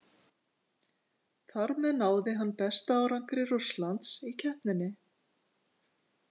Þar með náði hann besta árangri Rússlands í keppninni.